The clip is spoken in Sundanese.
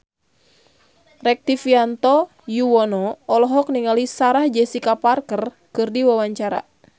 Rektivianto Yoewono olohok ningali Sarah Jessica Parker keur diwawancara